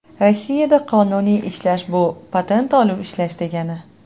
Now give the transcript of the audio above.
Rossiyada qonuniy ishlash bu patent olib ishlash degani.